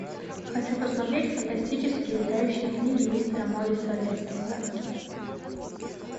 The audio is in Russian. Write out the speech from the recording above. хочу посмотреть фантастические летающие книги мистера морриса лессмора